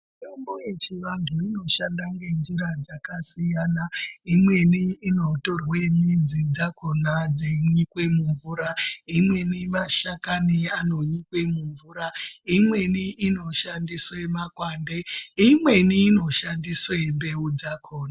Mitombo yechivantu inoshanda ngenjira dzakasiyana imweni inotorwa midzi dzakona yeinyikwa mumvura imweni mashakani einyikwa mumvura imweni inoshandiswa makwande imweni inoshandisa mbeu dzakona.